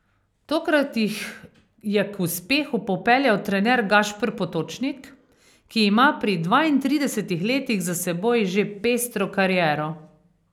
Tokrat jih je k uspehu popeljal trener Gašper Potočnik, ki ima pri dvaintridesetih letih za seboj že pestro kariero.